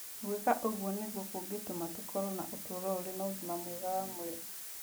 Gwĩka ũguo nĩguo kũngĩtũma tũkorũo na ũtũũro ũrĩ na ũgima mwega wa mwĩrĩ.